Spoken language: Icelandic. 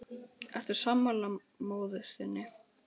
Telma: Ertu sammála móður þinni?